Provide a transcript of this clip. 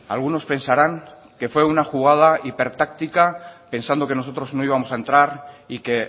algunos pensarán que fue una jugada hiper táctica pensando que nosotros no íbamos a entrar y que